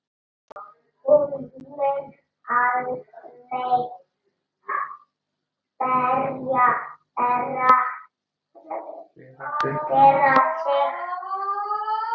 Hún mun aldrei bera sig.